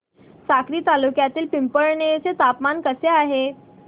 साक्री तालुक्यातील पिंपळनेर चे तापमान कसे आहे